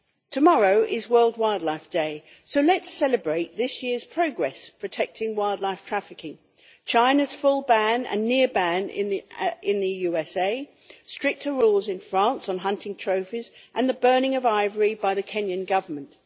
Tomorrow is World Wildlife Day, so let's celebrate this year's progress in protecting wildlife against trafficking China's full ban and the near ban in the USA, stricter rules in France on hunting trophies and the burning of ivory by the Kenyan Government.